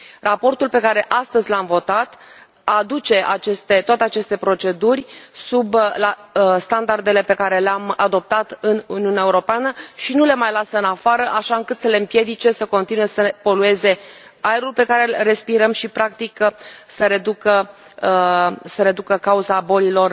Raportul pe care astăzi l am votat aduce toate aceste proceduri la standardele pe care le am adoptat în Uniunea Europeană și nu le mai lasă în afară, așa încât să le împiedice să continue să polueze aerul pe care l respirăm și, practic, să reducă cauza bolilor